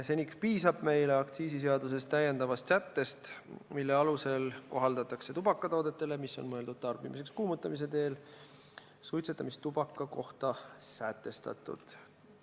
Seniks piisab meile aktsiisiseaduses lisasättest, mille alusel kohaldatakse tubakatoodetele, mis on mõeldud tarbimiseks kuumutamise teel, suitsetamistubaka kohta sätestatut.